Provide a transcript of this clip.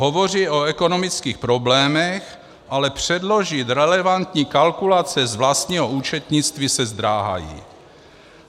Hovoří o ekonomických problémech, ale předložit relevantní kalkulace z vlastního účetnictví se zdráhají.